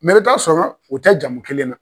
i bɛ ta sɔrɔ o tɛ jamu kelen na.